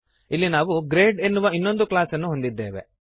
ಇಲ್ಲಿ ನಾವು ಗ್ರೇಡ್ ಎನ್ನುವ ಇನ್ನೊಂದು ಕ್ಲಾಸ್ ಅನ್ನು ಹೊಂದಿದ್ದೇವೆ